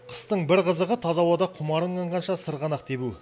қыстың қызығы таза ауада құмарың қанғанша сырғанақ тебу